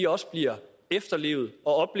også bliver efterlevet og